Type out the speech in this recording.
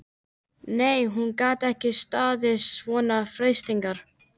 Nei, hún gat ekki staðist svona freistingar.